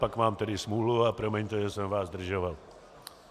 Pak mám tedy smůlu a promiňte, že jsem vás zdržoval.